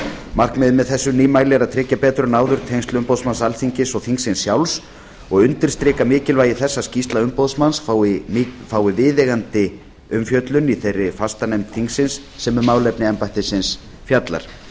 markmiðið með þessu nýmæli er að tryggja betur en áður tengsl embættis umboðsmanns alþingis og þingsins sjálfs og undirstrika mikilvægi þess að skýrsla umboðsmanns fái viðeigandi umfjöllun í þeirri fastanefnd þingsins sem um málefni embættisins fjallar